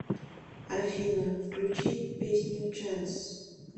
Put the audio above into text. афина включи песню чэнс